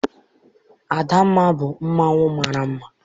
Adamma bụ mmanwụ mara mma.